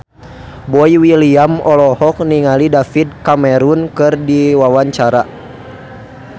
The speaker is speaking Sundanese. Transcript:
Boy William olohok ningali David Cameron keur diwawancara